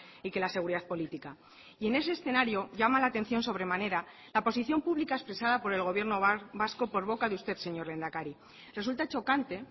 y que la seguridad política y en ese escenario llama la atención sobremanera la posición pública expresada por el gobierno vasco por boca de usted señor lehendakari resulta chocante